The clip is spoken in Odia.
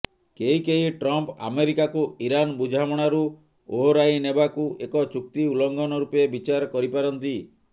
କେହି କେହି ଟ୍ରମ୍ପ୍ ଆମେରିକାକୁ ଇରାନ୍ ବୁଝାମଣାରୁ ଓହରାଇ ନେବାକୁ ଏକ ଚୁକ୍ତି ଉଲ୍ଲଂଘନ ରୂପେ ବିଚାର କରିପାରନ୍ତି